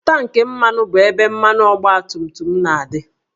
Tankị mmanụ bụ ebe mmanụ ọgbatumtum na-adị